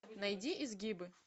найди изгибы